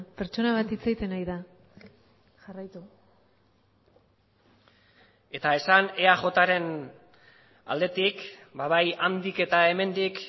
pertsona bat hitz egiten ari da jarraitu eta esan eajren aldetik bai handik eta hemendik